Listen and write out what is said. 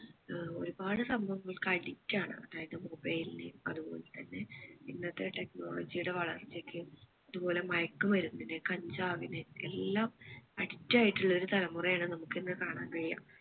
ഏർ ഒരുപാട് സംഭവങ്ങൾക്ക് addict ആണ് അതായത് mobile നു അതുപോലെ തന്നെ ഇന്നത്തെ technology യുടെ വളർച്ചയ്ക്ക് അതുപ്പോലെ മയക്ക് മരുന്നിനു കഞ്ചാവിന് എല്ലാം addict ആയിട്ടുള്ള ഒരു തലമുറ ആണ് നമുക്ക് ഇന്ന് കാണാൻ കഴിയുക